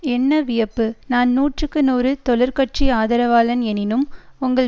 என்ன வியப்பு நான் நூற்றுக்கு நூறு தொழிற் கட்சி ஆதரவாளன் எனினும் உங்கள்